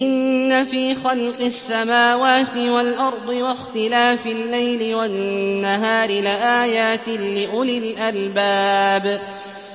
إِنَّ فِي خَلْقِ السَّمَاوَاتِ وَالْأَرْضِ وَاخْتِلَافِ اللَّيْلِ وَالنَّهَارِ لَآيَاتٍ لِّأُولِي الْأَلْبَابِ